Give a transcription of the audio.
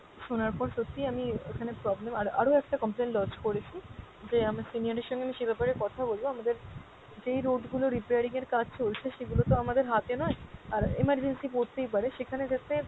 শোনার পর সত্যিই আমি আহ এখানে problem আর আরো একটা complain lodge করেছি যে আমার senior এর সঙ্গে আমি সে ব্যাপারে কথা বলবো, আমাদের যেই road গুলো repairing এর কাজ চলছে সেগুলো তো আমাদের হাতে নয়, আর emergency পড়তেই পারে সেখানে যাতে,